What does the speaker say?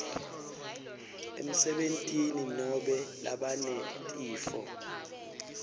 emsebentini nobe labanetifo